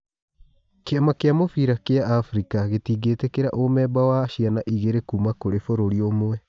Kĩ ama gĩ a mũbira gĩ a Afrika gĩ tingĩ tĩ kĩ ra umemba wa ciana igĩ rĩ kuma kũrĩ bũrũri ũmwe.